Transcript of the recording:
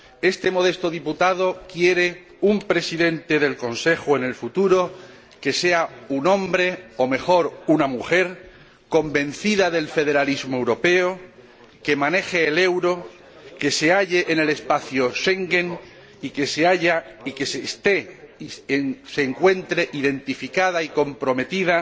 Este modesto diputado quiere un Presidente del Consejo en el futuro que sea un hombre, o mejor una mujer, convencida del federalismo europeo, que maneje el euro, que se halle en el espacio Schengen y que se sienta identificada y comprometida